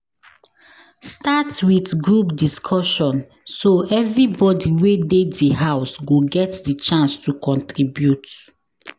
Start with group discussion so everybody wey de di house go get di chance to contribute